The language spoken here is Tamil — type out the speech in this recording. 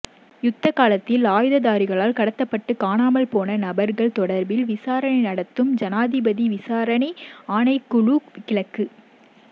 யுத்த காலத்தில் ஆயுததாரிகளால் கடத்தப்பட்டு காணாமல் போன நபர்கள் தொடர்பில் விசாரணை நடத்தும் ஜனாதிபதி விசாரணை ஆணைக்குழு கிழக்கு